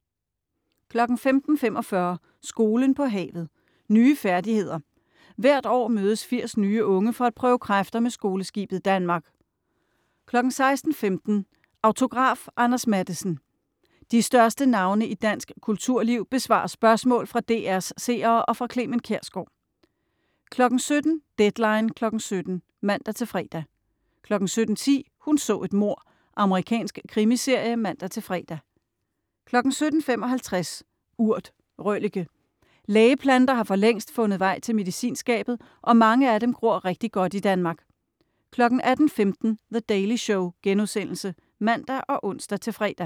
15.45 Skolen på havet. Nye færdigheder. Hvert år mødes 80 nye unge for at prøve kræfter med Skoleskibet Danmark 16.15 Autograf: Anders Matthesen. De største navne i dansk kulturliv besvarer spørgsmål fra DR's seere og fra Clement Kjersgaard 17.00 Deadline 17:00 (man-fre) 17.10 Hun så et mord. Amerikansk krimiserie (man-fre) 17.55 Urt. Røllike. Lægeplanter har for længst fundet vej til medicinskabet, og mange af dem gror rigtig godt i Danmark 18.15 The Daily Show.* (man og ons-fre)